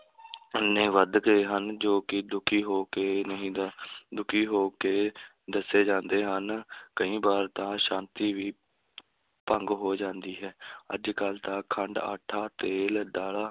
ਇੰਨੇ ਵੱਧ ਗਏ ਹਨ ਜੋ ਕਿ ਦੁਖੀ ਹੋ ਕੇ ਨਹੀਂ ਦ~ ਦੁਖੀ ਹੋ ਕੇ ਦੱਸੇ ਜਾਂਦੇ ਹਨ ਕਈ ਵਾਰ ਤਾਂ ਸ਼ਾਂਤੀ ਵੀ ਭੰਗ ਹੋ ਜਾਂਦੀ ਹੈ ਅੱਜ ਕੱਲ ਤਾਂ ਖੰਡ, ਆਟਾ, ਤੇਲ, ਦਾਲਾਂ,